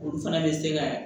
Olu fana bɛ se ka